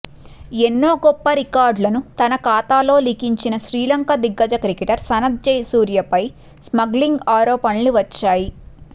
ఎన్నో గొప్ప రికార్డులను తన ఖాతాలో లిఖించిన శ్రీలంక దిగ్గజ క్రికెటర్ సనత్ జయసూర్యపై స్మగ్లింగ్ ఆరోపణలు వచ్చాయి